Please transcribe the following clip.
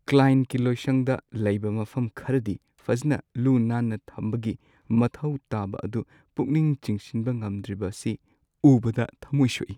ꯀ꯭ꯂꯥꯏꯟꯠꯀꯤ ꯂꯣꯏꯁꯪꯗ ꯂꯩꯕ ꯃꯐꯝ ꯈꯔꯗꯤ ꯐꯖꯅ ꯂꯨ-ꯅꯥꯟꯅ ꯊꯝꯕꯒꯤ ꯃꯊꯧ ꯇꯥꯕ ꯑꯗꯨ ꯄꯨꯛꯅꯤꯡ ꯆꯤꯡꯁꯤꯟꯕ ꯉꯝꯗ꯭ꯔꯤꯕꯁꯤ ꯎꯕꯗ ꯊꯃꯣꯏ ꯁꯣꯛꯏ꯫ ꯫